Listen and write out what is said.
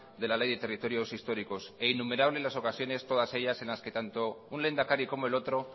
de la ley de territorios históricos e innumerables las ocasiones todas ellas en las que tanto un lehendakari como el otro